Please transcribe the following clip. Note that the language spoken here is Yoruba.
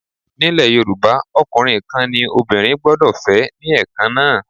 Nílẹ̀ Yorùbá, ọkùnrin kan ní obìnrin gbọ́dọ̀ fẹ́ ní Ẹ̀kan náà.